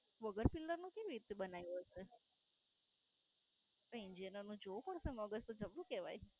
વગર Pillar નો કેમ એ રીતે બનાયો છે? એ Engineer નું જોવું પડશે મગજ તો જબરું કેવાય.